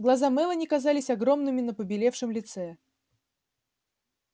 глаза мелани казались огромными на побелевшем лице